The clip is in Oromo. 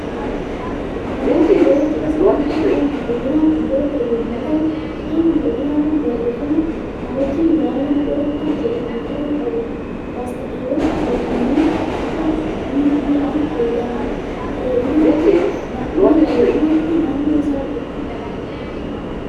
Namoonni yeroo cidha isaaniitti faaya miidhaginaa kan godhatan yommuu ta'u, faayi miidhaginaa kun barreeffama" Na wajjin gaa'ela ni godhattaa?" jedhu kan of irraa qabudha. Laastikiiwwan afuufamanii akka mi'a areedinaatti naannoo isaa jiru.